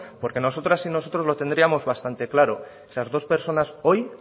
porque nosotras y nosotros lo tendríamos bastante claro esas dos personas hoy